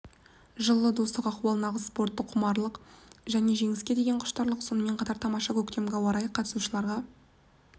жылы достық ахуал нағыз спорттық құмарлық және жеңіске деге құштарлық сонымен қатар тамаша көктемгі ауа-райы қатысушыларға